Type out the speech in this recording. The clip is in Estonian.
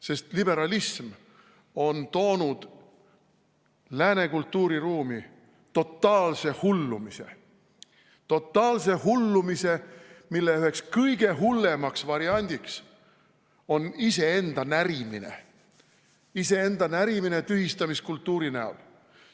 Sest liberalism on toonud lääne kultuuriruumi totaalse hullumise, mille üheks kõige hullemaks variandiks on iseenda närimine – iseenda närimine tühistamiskultuuri näol.